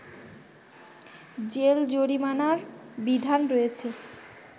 jail জরিমানার বিধান রয়েছে